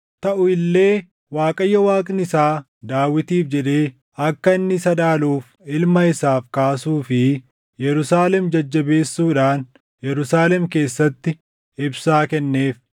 Taʼu illee Waaqayyo Waaqni isaa Daawitiif jedhee akka inni isa dhaaluuf ilma isaaf kaasuu fi Yerusaalem jajjabeessuudhaan Yerusaalem keessatti ibsaa kenneef.